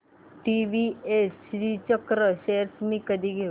TVS Srichakra shares मी कधी घेऊ